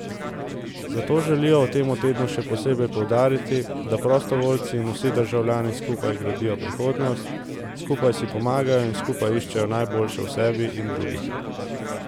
Zato želijo v tem tednu še posebej poudariti, da prostovoljci in vsi državljani skupaj gradijo prihodnost, skupaj si pomagajo in skupaj iščejo najboljše v sebi in drugih.